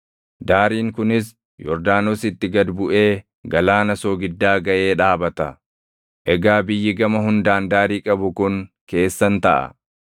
Daariin kunis Yordaanositti gad buʼee Galaana Soogiddaa gaʼee dhaabata. “ ‘Egaa biyyi gama hundaan daarii qabu kun keessan taʼa.’ ”